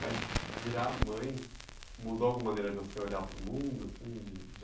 Mas virar mãe mudou alguma maneira de você olhar para o mundo? Assim, de, de